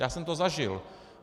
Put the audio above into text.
Já jsem to zažil.